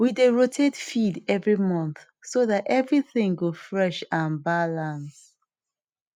we dey rotate feed every month so dat everything go fresh and balance